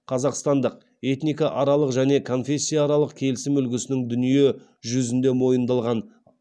қазақстандық этникааралық және конфессияаралық келісім үлгісінің дүние жүзінде мойындалған